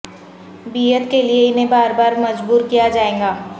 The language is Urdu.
بیعت کے لئے انہیں بار بار مجبور کیا جائے گا